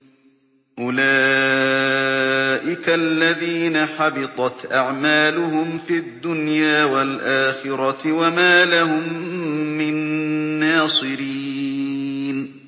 أُولَٰئِكَ الَّذِينَ حَبِطَتْ أَعْمَالُهُمْ فِي الدُّنْيَا وَالْآخِرَةِ وَمَا لَهُم مِّن نَّاصِرِينَ